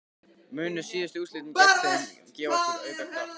Munu síðustu úrslit gegn þeim gefa okkur auka kraft?